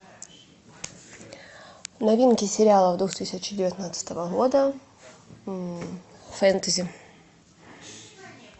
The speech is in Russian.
новинки сериалов две тысячи девятнадцатого года фэнтези